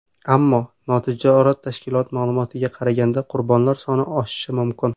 Ammo, notijorat tashkilot ma’lumotiga qaraganda, qurbonlar soni oshishi mumkin.